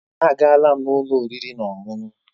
Èé, agaala m ụlọ oriri na ọṅụṅụ.